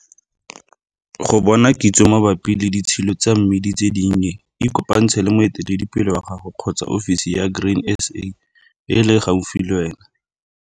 Go bona kitso gape mabapi le ditshilo tsa mmidi tse dinnye ikopantshe le moeteledipele wa gago kgotsa ofisi ya Grain SA e e leng gaufi le wena.